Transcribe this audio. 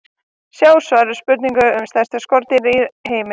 Sjá svar við spurningu um stærsta skordýr í heimi.